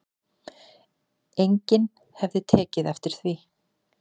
Enginn hefði tekið eftir því